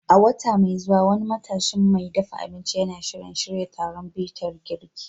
A wata mai zuwa, wani matashin mai dafa abinci yana shirin shirya taron bitar girki.